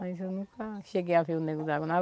Mas eu nunca cheguei a ver o Nego d'água.